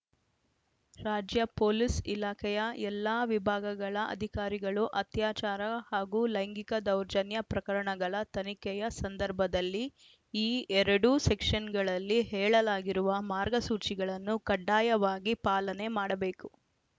ರಾಜ್ಯ ಪೊಲೀಸ್‌ ಇಲಾಖೆಯ ಎಲ್ಲಾ ವಿಭಾಗಗಳ ಅಧಿಕಾರಿಗಳು ಅತ್ಯಾಚಾರ ಹಾಗೂ ಲೈಂಗಿಕ ದೌರ್ಜನ್ಯ ಪ್ರಕರಣಗಳ ತನಿಖೆಯ ಸಂದರ್ಭದಲ್ಲಿ ಈ ಎರಡೂ ಸೆಕ್ಷನ್‌ಗಳಲ್ಲಿ ಹೇಳಲಾಗಿರುವ ಮಾರ್ಗಸೂಚಿಗಳನ್ನು ಕಡ್ಡಾಯವಾಗಿ ಪಾಲನೆ ಮಾಡಬೇಕು